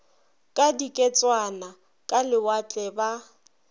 ka diketswana ka lewatle ba